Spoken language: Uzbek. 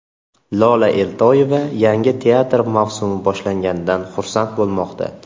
Lola Eltoyeva yangi teatr mavsumi boshlanganidan xursand bo‘lmoqda.